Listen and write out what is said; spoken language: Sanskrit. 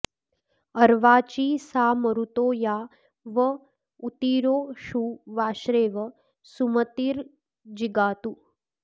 अ॒र्वाची॒ सा म॑रुतो॒ या व॑ ऊ॒तिरो षु वा॒श्रेव॑ सुम॒तिर्जि॑गातु